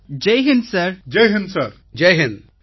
பிரதமர் ஜெய் ஹிந்த் ஜெய் ஹிந்த்